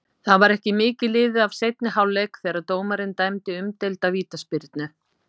Það var ekki mikið liðið af seinni hálfleik þegar dómarinn dæmdi umdeilda vítaspyrnu.